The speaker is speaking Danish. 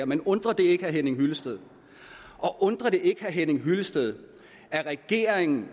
men undrer det ikke herre henning hyllested og undrer det ikke herre henning hyllested at regeringen